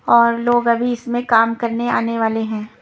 और लोग अभी इसमें काम करने आने वाले हैं।